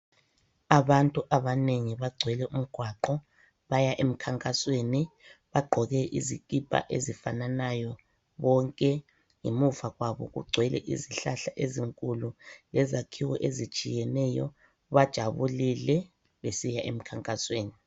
Abantu abanengi bagcwele umgwaqo baya emkhankasweni bagqoke izikipa ezifananayo bonke. Ngemuva kwabo kugcwele izihlahla ezinkulu lezakhiwo ezitshiyeneyo bajabulile besiya emkhankasweni.